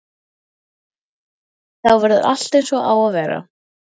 Þá verður allt eins og það á að vera.